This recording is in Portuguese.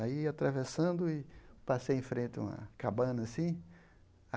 Aí, atravessando, e passei em frente a uma cabana, assim.